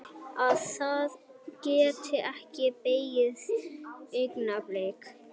Að það geti ekki beðið augnablik.